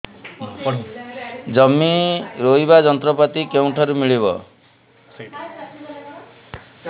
ଜମି ରୋଇବା ଯନ୍ତ୍ରପାତି କେଉଁଠାରୁ ମିଳିବ